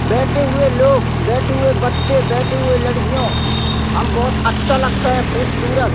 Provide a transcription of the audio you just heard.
बैठे हुए लोग बैठे हुए बच्चे बैठे हुए लड़कियों हम बहोत अच्छा लगता है खूबसूरत।